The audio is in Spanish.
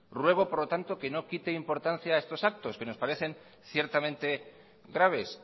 ruego por lo tanto que no quite importancia a estos actos que nos parecen ciertamente graves